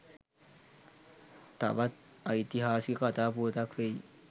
තවත් ඓතිහාසික කතා පුවතක් වෙයි.